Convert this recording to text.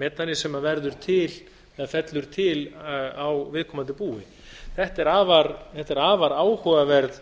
metani sem verður til eða fellur til á viðkomandi búi þetta er afar